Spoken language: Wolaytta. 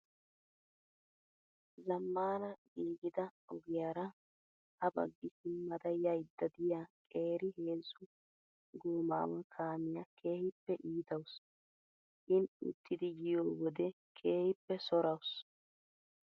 zammaana giigida ogiyaara ha baggi simmaada yayidda diyaa qeeri heezzu gomaawaa kaamiyaa keehippe iitawusu. In uttidi yiyoo wode keehippe sorawuusu.